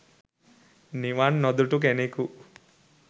නිවන් නොදුටු කෙනෙකු